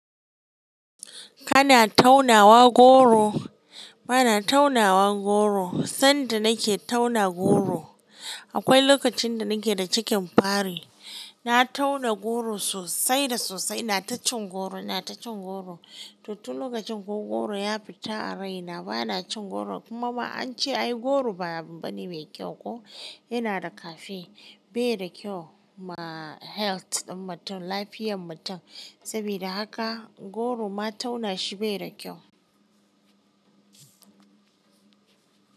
Kana taunawa goro? Bana taunawa goro, sanda nake tauna goro, akwai lokacin da nake da cikin fari. Na tauna goro sosai da sosai, ina ta cin goro, ina ta cin goro. Tutu lokacin ko goro ya fita a rai, na bana cin goro kuma ma an ce ai goro babu bani mai kyau ko, yana da cafe, bai da kyau ma health ɗin mutum, lafiyan mutum. Saboda haka goro ma tauna shi bai da kyau.